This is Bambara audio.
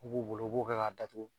O b'u bolo u b'o kɛ ka datugu.